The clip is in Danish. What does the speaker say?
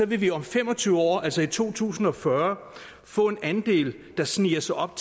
vil vi om fem og tyve år altså i to tusind og fyrre få en andel der sniger sig op